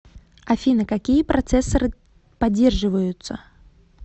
афина какие процессоры поддерживаются